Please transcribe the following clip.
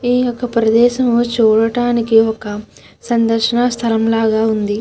ఈ యొక్క ప్రేదేశం చూడడానికి ఒక సందర్శన స్థలం లాగా వుంది.